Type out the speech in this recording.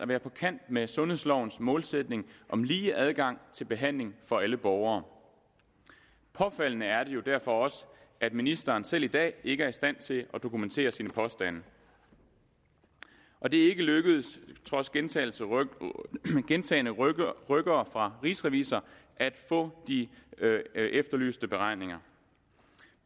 være på kant med sundhedslovens målsætning om lige adgang til behandling for alle borgere påfaldende er det jo derfor også at ministeren selv i dag ikke er i stand til at dokumentere sine påstande og det er ikke lykkedes trods gentagne gentagne rykkere rykkere fra rigsrevisor at få de efterlyste beregninger